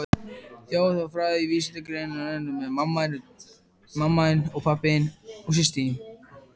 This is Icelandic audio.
Þjóðfræði er vísindagrein sem fæst við rannsókn þjóðmenningar.